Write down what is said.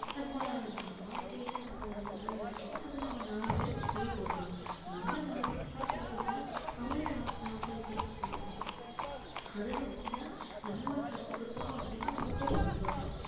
நம்ம வா~வாழ்கையில நம்ம உபயோகிக்கணும் அதை நம்ம நாலு பேருக்கு சொல்லி கொடுக்கணும் நம்ம நாலு பேருக்கு சொல்லி கொடுத்தோம்னா அவன் நாப்~நாப்பது பேருக்கு சொல்லி கொடுப்பான் அதை வச்சி தான் நம்ம கத்துக்கிட்டோம் அப்படின்னு நமக்கு ஒரு சந்தோஷம்